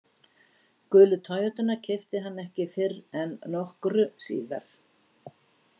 Gulu Toyotuna keypti hann ekki fyrr en nokkru síðar.